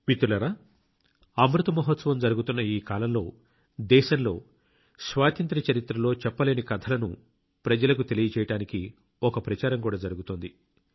మిత్రులారా అమృత మహోత్సవం జరుగుతున్న ఈ కాలంలో దేశంలో స్వాతంత్ర్య చరిత్రలో చెప్పలేని కథలను ప్రజలకు తెలియజేయడానికి ఒక ప్రచారం కూడా జరుగుతోంది